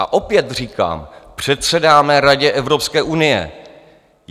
A opět říkám, předsedáme Radě Evropské unie.